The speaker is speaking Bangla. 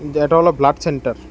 যে এটা হলো ব্লাড সেন্টার ।